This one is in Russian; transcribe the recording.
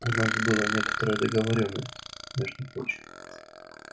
у нас была некоторая договорённость между прочим